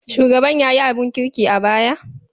Shugaban ya yi abin kirki a baya?